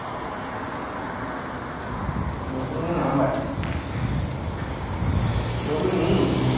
নতুনই number নতুন নিই নি।